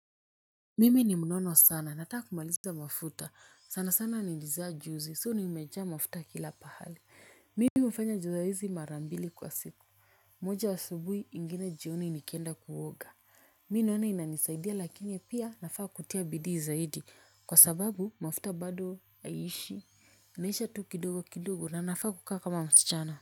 Mimi ni mnono sana nataka kumaliza mafuta sana sana ni nili zaa juzi so nimejaa mafuta kila pahali mimi hufanya juu ya hizi mara mbili kwa siku moja asubuhi ingine jioni nikienda kuoga mimi naona inanisaidia lakini pia nafaa kutia bidii zaidi kwa sababu mafuta bado aishi naisha tu kidogo kidogo na nafaa kukaa kama msichana.